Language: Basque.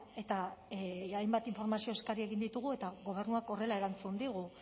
eta hainbat informazio eskari egin ditugu eta gobernuak horrela erantzun digu